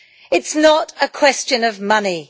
It is not a question of money.